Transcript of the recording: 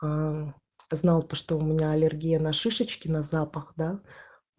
а знал то что у меня аллергия на шишечки на запах да